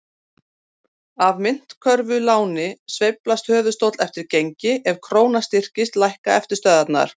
Á myntkörfuláni sveiflast höfuðstóll eftir gengi, ef króna styrkist lækka eftirstöðvar.